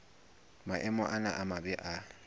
maemo ana a mabe a